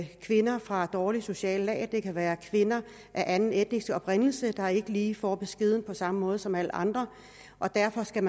kvinder fra dårlige sociale lag eller det kan være kvinder af anden etnisk oprindelse der ikke lige får beskeden på samme måde som alle andre og derfor skal